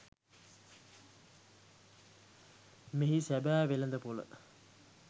මෙහි සැබෑ වෙළෙඳපොළ